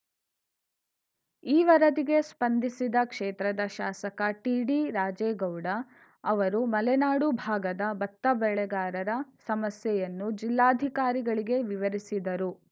ಈ ವರದಿಗೆ ಸ್ಪಂದಿಸಿದ ಕ್ಷೇತ್ರದ ಶಾಸಕ ಟಿಡಿ ರಾಜೇಗೌಡ ಅವರು ಮಲೆನಾಡು ಭಾಗದ ಭತ್ತ ಬೆಳೆಗಾರರ ಸಮಸ್ಯೆಯನ್ನು ಜಿಲ್ಲಾಧಿಕಾರಿಗಳಿಗೆ ವಿವರಿಸಿದರು